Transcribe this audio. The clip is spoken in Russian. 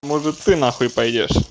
может ты нахуй пойдёшь